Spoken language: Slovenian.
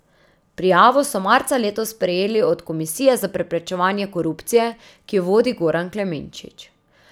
Prijavo so marca letos prejeli od Komisije za preprečevanje korupcije, ki jo vodi Goran Klemenčič.